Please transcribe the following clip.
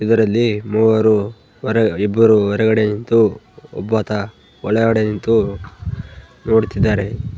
ಇದರಲ್ಲಿ ಮೂವರು ಹೊರ ಇಬ್ಬರು ಹೊರಗಡೆ ನಿಂತು ಒಬ್ಬಾತ ಒಳಗಡೆ ನಿಂತು ನೋಡುತ್ತಿದ್ದಾರೆ .